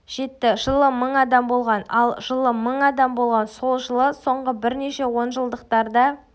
жетті жылы мың адам болған ал жылы мың адам болған сол жылы соңғы бірнеше онжылдықтарда